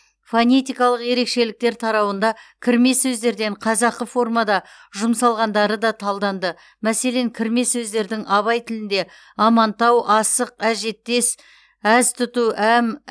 фонетикалық ерекшеліктер тарауында кірме сөздерден қазақы формада жұмсалғандары да талданды мәселен кірме сөздердің абай тілінде амантау асық әжеттес әз тұту әм